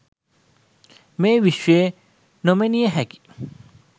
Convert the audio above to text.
මේ විශ්වය නොමිණීයහැකි